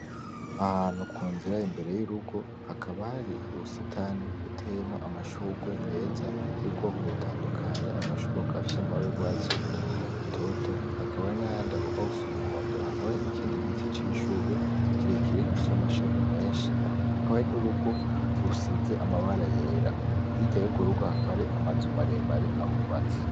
Ahantu ku nzira imbere y'urugo hakaba hari uwusetani buteyemo amashurwe meza y'ubwoko butandukanye amashurwe kafyo amabara y'urwatsi rutoto hakabari n'a yandi agombagusa umuhondo hakaba ari n'ikindi giti cishurwe kirekire gipyo amashami menshi hakaba hari n'urugo rusize amabara yera hirya yogurugo hakare amazuma aremare ahubaze.